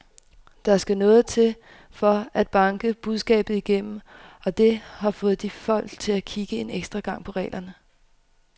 Der skal noget til for at banke budskabet igennem, og det har da fået folk til at kigge en ekstra gang på reglerne.